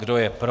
Kdo je pro?